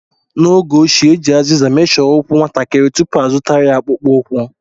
N'oge ochie, e ji azịza meshọ ụkwụ nwatakịrị tupu azụtara ya akpụkpọ ụkwụ.